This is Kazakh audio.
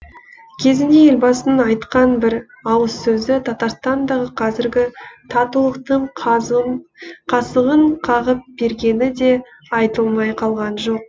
кезінде елбасының айтқан бір ауыз сөзі татарстандағы қазіргі татулықтың қазығын қағып бергені де айтылмай қалған жоқ